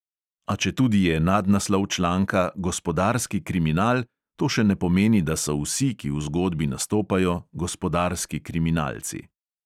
A četudi je nadnaslov članka gospodarski kriminal, to še ne pomeni, da so vsi, ki v zgodbi nastopajo, gospodarski kriminalci.